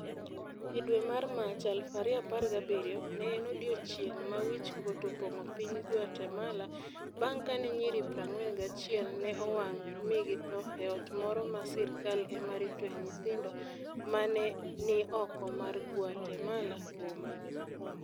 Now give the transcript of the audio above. E dwe mar Mach 2017, ne en odiechieng' ma wich kuot opong'o piny Guatemala bang ' kane nyiri 41 ne owang ' mi githo e ot moro ma sirkal ema ritoe nyithindo, ma ne ni oko mar Guatemala boma.